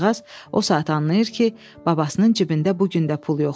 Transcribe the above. Qızcıqaz o saat anlayır ki, babasının cibində bu gün də pul yoxdur.